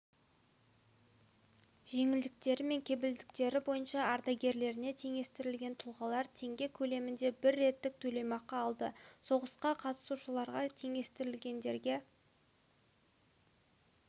жеңілдіктері мен кепілдіктері бойынша ардагерлеріне теңестірілген тұлғалар теңге көлемінде бір реттік төлемақы алды соғысқа қатысушыларға теңестірілгендерге